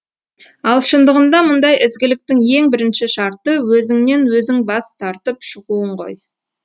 ал шындығында мұндай ізгіліктің ең бірінші шарты өзіңнен өзің бас тартып шығуың ғой